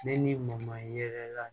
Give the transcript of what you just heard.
Ne n'i mɔman yɛrɛ la